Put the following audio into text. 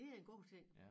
Det er en god ting